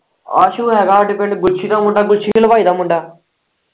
ਆਸੂ ਹੈਗਾ ਹਾਂਡੇ ਪਿੰਡ ਗੁੱਛੀ ਦਾ ਮੁੰਡਾ ਗੁੱਛੀ ਹਲਵਾਈ ਦਾ ਮੁੰਡਾ।